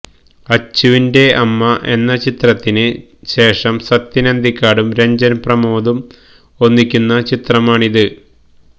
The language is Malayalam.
അച്ചുവിന്റെ അമ്മ എന്ന ചിത്രത്തിന് ശേഷം സത്യൻ അന്തിക്കാടും രഞ്ജൻ പ്രമോദും ഒന്നിക്കുന്ന ചിത്രമാണ് ഇത്